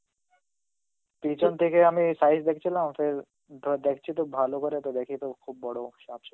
পিছন থেকে আমি size দেখছিলাম ওটার, তো দেখছি তো ভালো করে ওটা দেখিত খুব বড় সাপ ছিল.